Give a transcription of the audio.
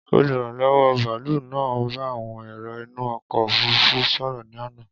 Oluranlọwọ baalu naa n ba awọn ero inu ọkọ ofurufu sọrọ ni ana.